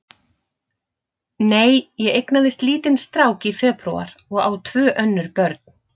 Nei, ég eignaðist lítinn strák í febrúar og á tvö önnur börn.